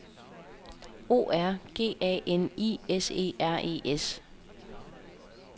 O R G A N I S E R E S